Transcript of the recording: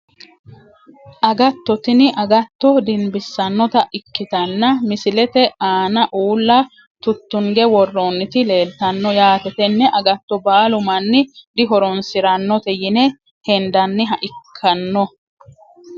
Agatto tini agatto dinbisanota ikitanna misilete aana uula tutunge worooniti leeltano yaate tene agatoo baalu mani dihoronsiranote yine hendaniha ikano.